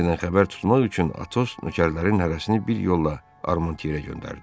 Miledidən xəbər tutmaq üçün Atos nökərlərinin hərəsini bir yolla Armantyera göndərdi.